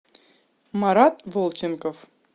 марат волченков